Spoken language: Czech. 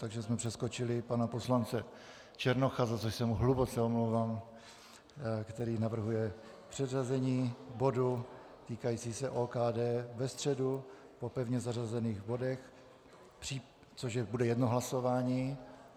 Takže jsme přeskočili pana poslance Černocha, za což se mu hluboce omlouvám, který navrhuje přeřazení bodu týkajícího se OKD na středu po pevně zařazených bodech, což bude jedno hlasování.